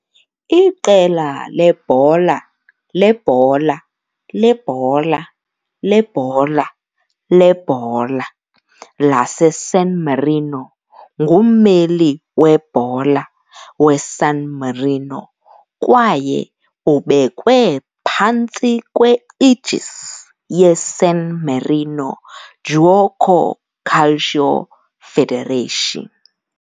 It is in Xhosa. Iqela lebhola lebhola lebhola lebhola lebhola laseSan Marino ngummeli webhola weSan Marino kwaye ubekwe phantsi kwe-aegis yeSan Marino Giuoco Calcio Federation.